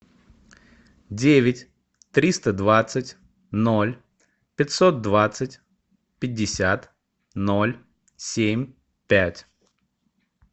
девять триста двадцать ноль пятьсот двадцать пятьдесят ноль семь пять